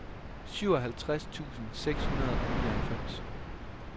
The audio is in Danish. syvoghalvtreds tusind seks hundrede og nioghalvfems